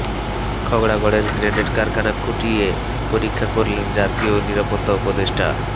খাগড়াগড়ের grenade কারখানা খুঁটিয়ে পরীক্ষা করলেন জাতীয় নিরাপত্তা উপদেষ্টা